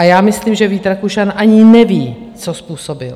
A já myslím, že Vít Rakušan ani neví, co způsobil.